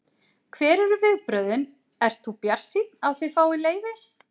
Hver eru viðbrögðin, ert þú bjartsýnn á að þið fáið leyfi?